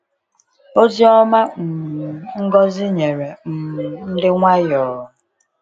Ozi Ọma um Ngọzi nyere um ndị Nwayọọ.